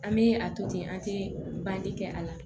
An bɛ a to ten an tɛ bange kɛ a la